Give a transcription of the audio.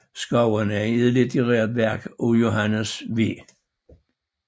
Skovene er et litterært værk af Johannes V